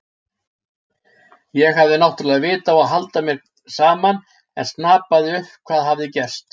Ég hafði náttúrlega vit á að halda mér saman en snapaði upp hvað hafði gerst.